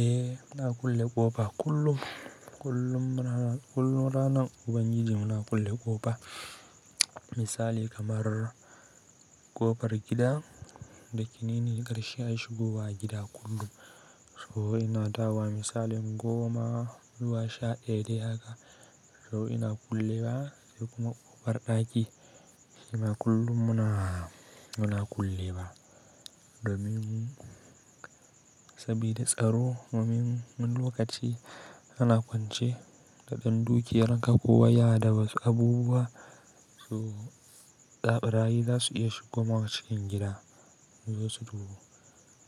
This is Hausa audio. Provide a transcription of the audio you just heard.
Eh, muna kulle ƙofa kullum. Kullum ranan, kullum ranan ubangiji muna kulle ƙofa. Misali kamar ƙofar gida da yake nine karshe a shigo wa gida kullum. Too ina dawowa misalin goma zuwa sha ɗaya dai haka so ina kullewa sai kuma ƙofar ɗaki shima kullum muna, muna kullewa. Domin sabida tsaro domin wani lokaci ana kwance da ɗan dukiyarka kowa ya dawasu abubuwa su, barayi zasu iya shigowa cikin gida. Zo su